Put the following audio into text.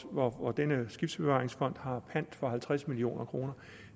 og og denne skibsbevaringsfond har pant for halvtreds million kroner